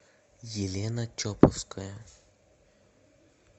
елена чоповская